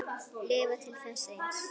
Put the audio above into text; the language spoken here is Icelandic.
Lifa til þess eins.